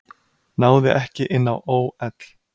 Náði ekki inn á ÓL